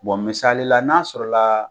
misali la n'a sɔrɔ la